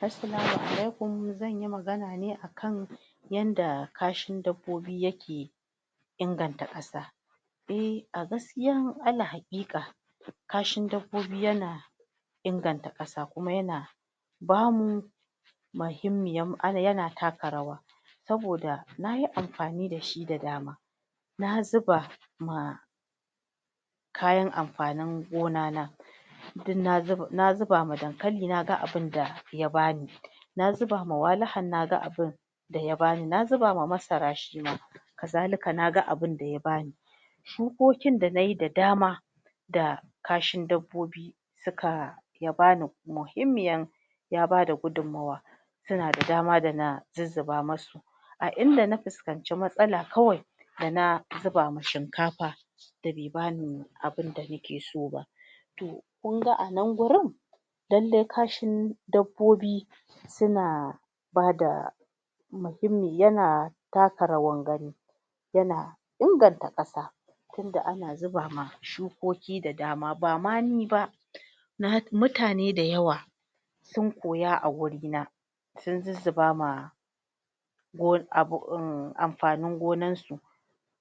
Assalamu alaikum zanyi magana ne akan yadda kashin dabbobi yake inganta ƙasa eh a gaskiya ala haƙiƙa kashi dabbobi yana inganta ƙasa kuma yana bamu muhimmiyan yana taka rawa saboda nayi amfani dashi da dama na zuba ma kayan amfanin gona na duk na zuba na zuda ma dankali naga abun da ya bani na zuba ma walihan naga abun daya bani na zuba ma masara shima kazalika naga abun da ya bani shukokin da nayi da dama da kashin dabbobi suka ya bani muhimmiyan ya bada gudummawa suna da dama dana zuzzuba masu a inda na fuskanci matsala kawai dana zuba ma shikafa da be bani abunda nake so ba to kunga anan gurin dan dai kashin dabbobi suna bada muhimmi yana taka rawar gani tana inganta ƙasa tunda ana zubama shukoki da dama bama ni ba na mutane da yawa sun koya a gurina sun zuzzuba ma gona um amfanin gonan su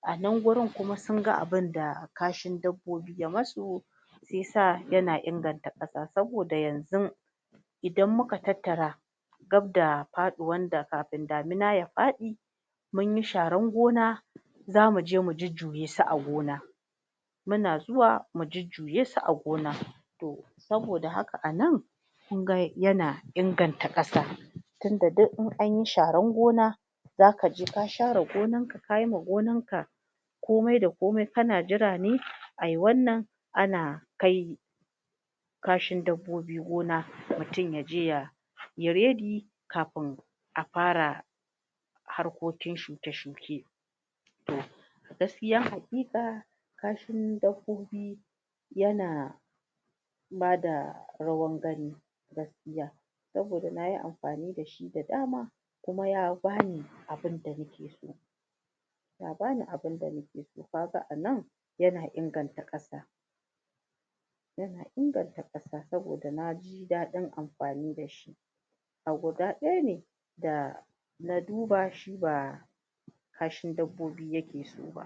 anan gurin kuma sunga abunda kashin dabbobi ya masu shiyasa yan inganta ƙasa saboda yanzun idan muka tattara gabda faɗuwan da kamin damuna ya faɗi munyi sharan gona zamu je mu jujjuye su a gona muna zuwa mu jujjuye su a gona to saboda haka anan kun ga yana inganta ƙasa tinda duk in anyi sharan gona zaka je ka share gonan ka kayi ma gonan ka komai da komai kana jira ne ai wannan ana kai kashin dabbobi gona mutum yaje ya ya ready kafin a fara harkokin shuke shuke to gaskiya haƙiƙa kashin dabbobi yana ya bada rawan gani gaskiya saboda nayi amfani dashi da dama kuma ya bani abinda nake so ya bani abinda nake so kaga anan yana inganta ƙasa yana inganta ƙasa saboda naji daɗin amfani dashi a guda ɗaya ne da na duba shiba kashin dabbobi yake soba.